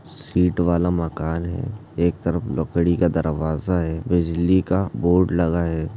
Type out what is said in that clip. Seat वाला मकान है एक तरफ लकड़ी का दरवाजा है बिजली का बोर्ड लगा है।